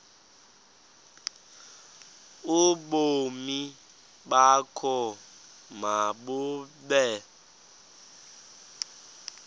ubomi bakho mabube